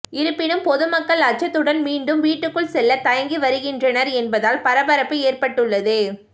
இருப்பினும் பொதுமக்கள் அச்சத்துடன் மீண்டும் வீட்டுக்குள் செல்ல தயங்கி வருகின்றனர் என்பதால் பரபரப்பு ஏற்பட்டுள்ளது